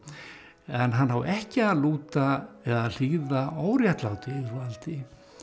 en hann á ekki að lúta eða hlýða óréttlátu yfirvaldi